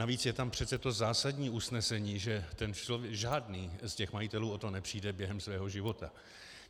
Navíc je tam přece to zásadní usnesení, že žádný z těch majitelů o to nepřijde během svého života.